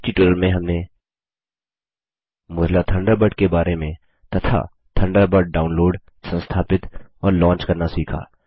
इस ट्यूटोरियल में हमने मोज़िला थंडरबर्ड के बारे में तथा थंडरबर्ड डाउनलोड संस्थापित और लॉन्च करना सीखा